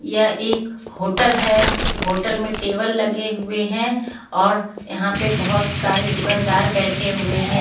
यह एक होटल है होटल में टेबल लगे हुए हैं और यहां पे बहुत सारे दुकानदार बैठे हुए हैं.